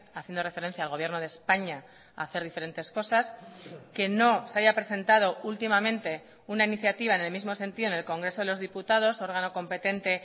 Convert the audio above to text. haciendo referencia al gobierno de españa a hacer diferentes cosas que no se haya presentado últimamente una iniciativa en el mismo sentido en el congreso de los diputados órgano competente